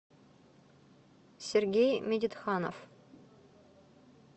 сергей медитханов